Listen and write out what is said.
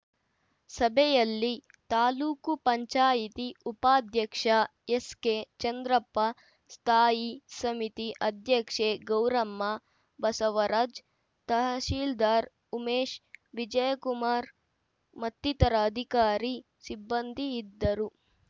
ಸಭೆಯಲ್ಲಿ ತಾಲೂಕು ಪಂಚಾಯಿತಿ ಉಪಾಧ್ಯಕ್ಷ ಎಸ್‌ಕೆ ಚಂದ್ರಪ್ಪ ಸ್ಥಾಯಿ ಸಮಿತಿ ಅಧ್ಯಕ್ಷೆ ಗೌರಮ್ಮ ಬಸವರಾಜ್‌ ತಹಸೀಲ್ದಾರ್‌ ಉಮೇಶ್‌ ವಿಜಯಕುಮಾರ್‌ ಮತ್ತಿತರ ಅಧಿಕಾರಿ ಸಿಬ್ಬಂದಿ ಇದ್ದರು